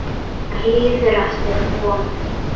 Mér líður eftir vonum.